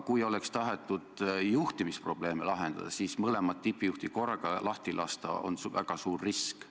Te tahtsite juhtimisprobleeme lahendada, aga kaks tippjuhti korraga lahti lasta on väga suur risk.